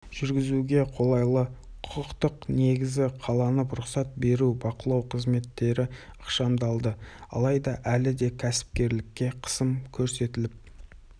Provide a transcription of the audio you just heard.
жүргізуге қолайлы құқықтық негіз қаланып рұқсат беру-бақылау қызметтері ықшамдалды алайда әлі де кәсіпкерлікке қысым көрсетіліп